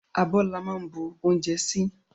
Abó la máa ń bu oúnjẹ sí